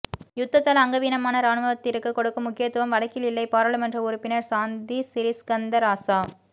யுத்தத்தால் அங்கவீனமான இராணுவத்திற்கு கொடுக்கும் முக்கியத்துவம் வடக்கில் இல்லை பாராளுமன்ற உறுப்பினா் சாந்தி சிறிஸ்கந்தராசா